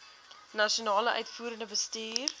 nasionale uitvoerende bestuur